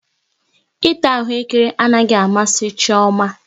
Ịta ahụekere anaghị amasị Chioma